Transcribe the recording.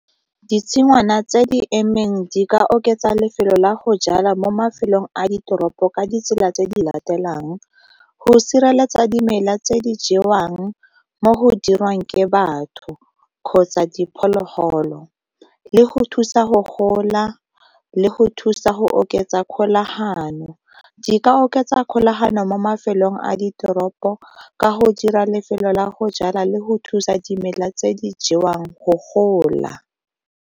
Ditshingwana tse di emeng di ka oketsa lefelo la go jala mo mafelong a ditoropo ka ditsela tse di latelang go sireletsa dimela tse di jewang mo go dirwang ke batho kgotsa diphologolo, le go thusa go gola, le go thusa go oketsa kgolagano. Di ka oketsa kgolagano mo mafelong a ditoropo ka go dira lefelo la go jala le go thusa dimela tse di jewang go gola.